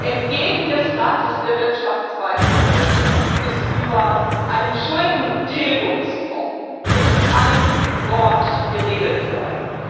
Entgegen dem Rat der Wirtschaftsweisen in Deutschland ist über einen Schuldentilgungsfonds nicht ein Wort geredet worden.